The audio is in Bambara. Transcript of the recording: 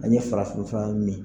A ye farafin fura min.